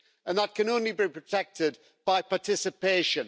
That can only be protected by participation.